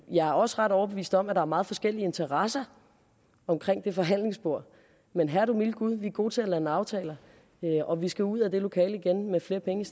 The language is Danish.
jeg er også ret overbevist om at er meget forskellige interesser omkring det forhandlingsbord men herre du milde gud vi er gode til at lande aftaler og vi skal ud af det lokale med flere penge